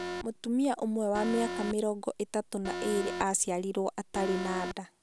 Mũtumia ũmwe wa mĩaka miĩrongo ĩtatũ na ĩĩrĩ aaciarirũo atarĩ na nda